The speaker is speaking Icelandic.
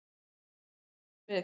Þá hlógum við.